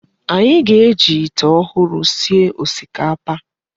Anyị ga-eji ite ọhụrụ sie osikapa.